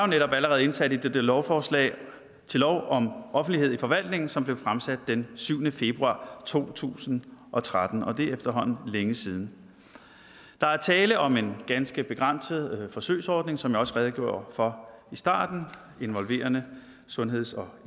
netop allerede indsat i det lovforslag til lov om offentlighed i forvaltningen som blev fremsat den syvende februar to tusind og tretten og det er efterhånden længe siden der er tale om en ganske begrænset forsøgsordning som jeg også redegjorde for i starten involverende sundheds og